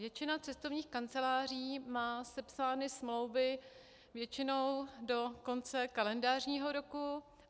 Většina cestovních kanceláří má sepsány smlouvy většinou do konce kalendářního roku.